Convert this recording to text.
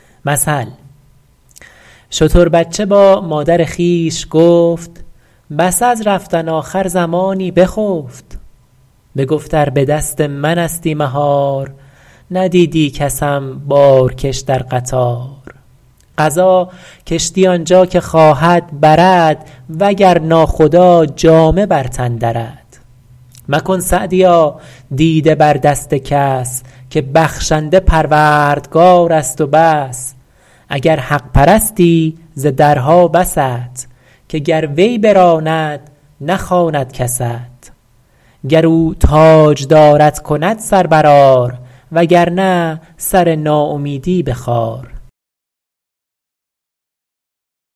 شتر بچه با مادر خویش گفت پس از رفتن آخر زمانی بخفت بگفت ار به دست من استی مهار ندیدی کسم بارکش در قطار قضا کشتی آنجا که خواهد برد وگر ناخدا جامه بر تن درد مکن سعدیا دیده بر دست کس که بخشنده پروردگار است و بس اگر حق پرستی ز درها بست که گر وی براند نخواند کست گر او تاجدارت کند سر بر آر وگر نه سر ناامیدی بخار